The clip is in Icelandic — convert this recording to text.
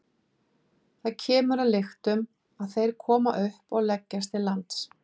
Þar kemur að lyktum að þeir koma upp og leggjast til lands.